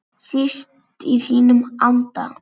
Síst í þínum anda.